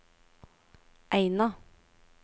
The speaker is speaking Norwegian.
Eina